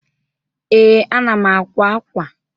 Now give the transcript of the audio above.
Ee, ana m àkwá ákwà.